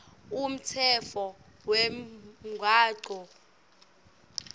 umtsetfo wemgwaco wavelonkhe